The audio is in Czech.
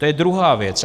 To je druhá věc.